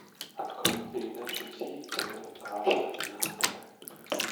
открой передачу зи тв раша на тв